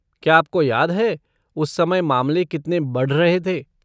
क्या आपको याद है उस समय मामले कितने बढ़ रहे थे?